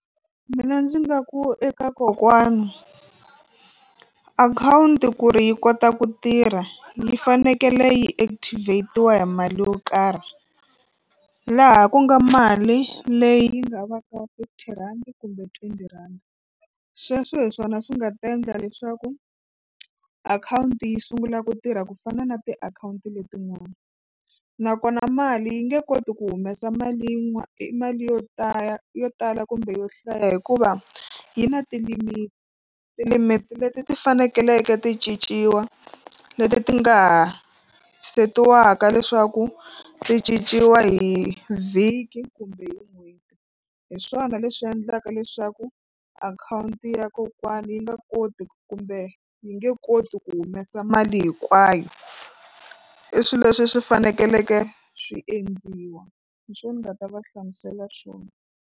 Mina ndzi nga ku eka kokwana akhawunti ku ri yi kota ku tirha yi fanekele yi activate-iwa hi mali yo karhi laha ku nga mali leyi yi nga va ka fifty rhandi kumbe twenty rhandi sweswo hi swona swi nga ta endla leswaku akhawunti yi sungula ku tirha ku fana na tiakhawunti letin'wana nakona mali yi nge koti ku humesa mali yin'wana i mali yo tala yo tala kumbe yo hlaya hikuva yi na ti-limit ti-limit leti ti faneleke ti cinciwa leti ti nga ha setiwaka leswaku ti cinciwa hi vhiki kumbe hi n'hweti hi swona leswi endlaka leswaku akhawunti ya kokwana yi nga koti kumbe yi nge koti ku humesa mali hinkwayo i swilo leswi swi fanekeleke swi endliwa hi swona ni nga ta va hlamusela swona.